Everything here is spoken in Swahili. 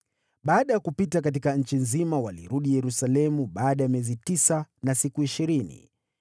Baada ya kupita katika nchi nzima, walirudi Yerusalemu baada ya miezi tisa na siku ishirini.